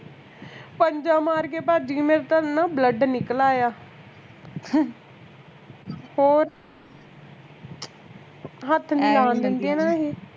ਪੰਜਾ ਮਾਰ ਕੇ ਭੱਜ ਗਈ ਮੇਰੇ ਤਾਂ ਐਨਾ blood ਨਿਕਲ ਆਇਆ ਹੋਰ ਹੱਥ ਨੀ ਲਾਣ ਦਿੰਦਿਆਂ ਨਾ ਏਹੇ